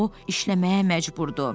O işləməyə məcburdu.